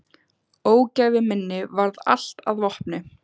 Ógæfu minni varð allt að vopni.